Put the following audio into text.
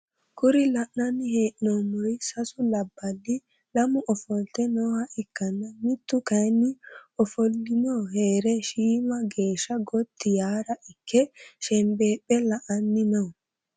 kuri la'nanni hee'noomori sasu labballi lamu ofolte nooha ikkanna mittu kayiinni ofollino heere shiima geesha gotti yaara ikke shenbeephe la"annino.